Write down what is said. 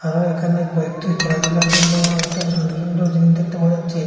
এখানে কয়েকটি খেলাধুলার জন্য একটা সুন্দর সুন্দর জিনিস দেখতে পাওয়া যাচ্ছে।